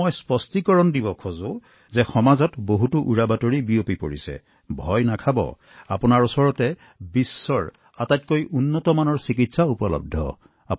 যথেষ্ট বিভ্ৰান্তিৰ সৃষ্টি হৈছে আৰু সেয়েহে মই এই স্পষ্টীকৰণ দিব বিচাৰো যে মহোদয় আমাৰ ওচৰত বিশ্বৰ সৰ্বশ্ৰেষ্ঠ চিকিৎসা উপলব্ধ আছে